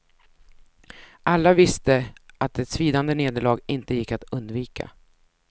Alla visste att ett svidande nederlag inte gick att undvika.